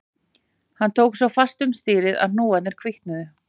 Hann tók svo fast um stýrið að hnúarnir hvítnuðu